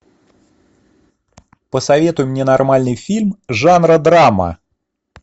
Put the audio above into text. посоветуй мне нормальный фильм жанра драма